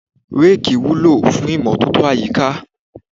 Reeki wúlò fún imọtoto àyíká.